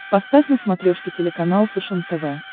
поставь на смотрешке телеканал фэшен тв